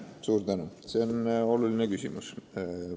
Suur tänu, see on oluline küsimus.